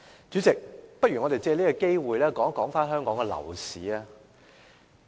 主席，我們不如藉此機會討論香港的樓市。